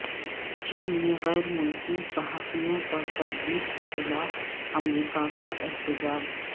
چین میں غیر ملکی صحافیوں پر تشدد کے خلاف امریکہ کا احتجاج